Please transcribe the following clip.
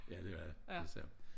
Ja det er det sandt